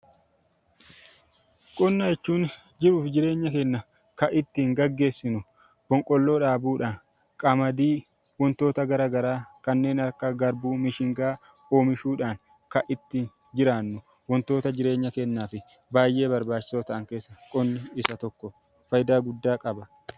Qonna jechuun jiruu fi jireenya keenna kan ittiin gaggeessinu boqqolloo dhaabuudhaan, qamadii wantoota gara garaa kanneen akka garbuu, mishingaa oomishuudhaan kan itti jiraannu wantoota jireenya keenyaaf baay'ee barbaachisoo ta'an keessaa qonni isa tokkodha, faayidaa guddaas qaba.